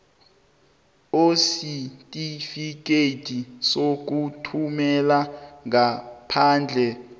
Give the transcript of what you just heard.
oisitifikhethi sokuthumela ngaphandle